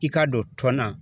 I k'a don tɔn na